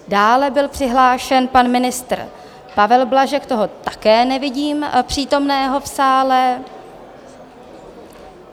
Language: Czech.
Dále byl přihlášen pan ministr Pavel Blažek, toho také nevidím přítomného v sále.